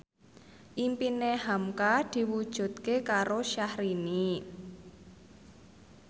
impine hamka diwujudke karo Syahrini